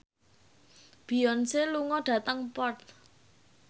Beyonce lunga dhateng Perth